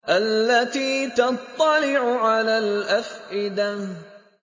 الَّتِي تَطَّلِعُ عَلَى الْأَفْئِدَةِ